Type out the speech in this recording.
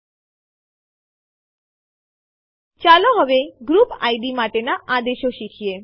હવે ચાલો અમુક વિકલ્પો કે જે એમવી સાથે આવે છે તે જોઈએ